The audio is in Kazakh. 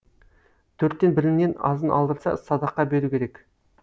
төрттен бірінен азын алдырса садақа беру керек